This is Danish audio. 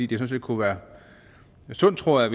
det kunne være sundt tror jeg